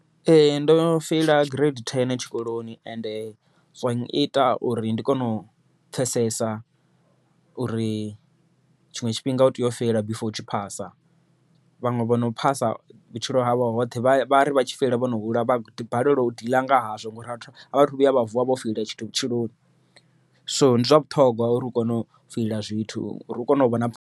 Ee ndo feila gireidi thene tshikoloni ende zwa nyita uri ndi kone u pfhesesa, uri tshiṅwe tshifhinga u tea u feila before u tshi phasa. Vhaṅwe vhono phasa vhutshilo havho hoṱhe, vhari vha tshi feila vho no hula vha balelwa u deal nga hazwo, ngori a vhathu vhuya vha vuwa vho feila tshithu vhutshiloni, so ndi zwa vhuṱhongwa uri u kone u feila zwithu uri kone u vhona